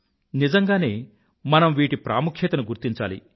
నిజంగానే మనం వీటి ప్రాముఖ్యతను గుర్తించాలి